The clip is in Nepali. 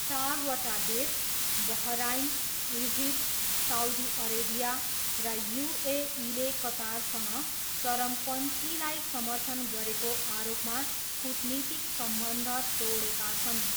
चारवटा देश बहराइन, इजिप्ट, साउदी अरेबिया र युएईले कतारसँग 'चरमपन्थी' लाई समर्थन गरेको आरोपमा कूटनीतिक सम्बन्ध तोडेका छन्।